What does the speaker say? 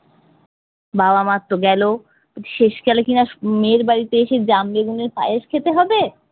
বাবা মার তো গেলো, শেষকালে কিনা উম মেয়ের বাড়িতে এসে জাম বেগুনের পায়েস খেতে হবে!